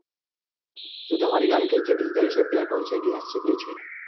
શું તમારી ગાડી કઈ છે diesel છે petrol છે gas કઈ છે?